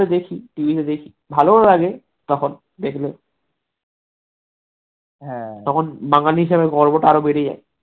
দেখি tv তে দেখি ভালোও লাগে তখন দেখলে হ্যাঁ তখন বাঙালী হিসেবে গর্বটা আরো বেড়ে যায়